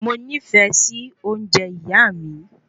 Moní fẹ sí ounjẹ ìyá mi